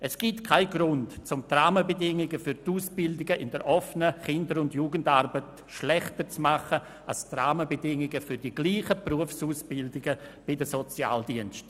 Es gibt keinen Grund, um die Rahmenbedingungen für die Ausbildung der OKJA schlechter zu machen als jene für die gleichen Berufsausbildungen der Sozialdienste.